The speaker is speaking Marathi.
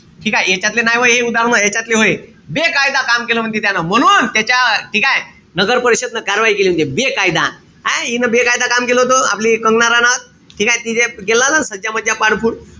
ठीकेय? यांच्यातले नाई व्हय उदाहरणं, ह्यांच्यातले व्हय. बेकायदा काम केलं म्हणते त्यानं. म्हणून त्याच्या ठीकेय? नागरपरिषदन कारवाई केली म्हणते. बेकायदा. हाये? हा इन बेकायदा काम केलं होत. ते आपली कंगना राणावत. ठीकेय? तिने केला ना सज्ज-मज्जा